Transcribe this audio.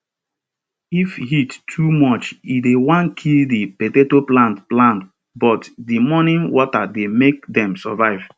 if heat too much e dey wan kill di potato plant plant but di morning water dey make dem survive